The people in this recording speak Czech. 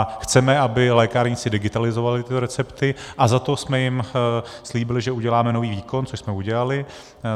A chceme, aby lékárníci digitalizovali tyto recepty, a za to jsme jim slíbili, že uděláme nový výkon, což jsme udělali.